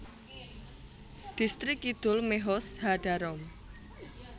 Dhistrik Kidul Mehoz HaDarom